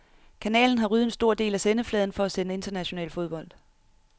Kanalen har ryddet en stor del af sendefladen for at sende international fodbold.